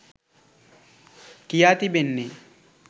කියා තිබෙන්නේ.